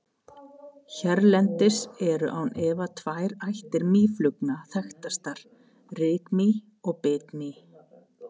Hérlendis eru án efa tvær ættir mýflugna þekktastar, rykmý og bitmý.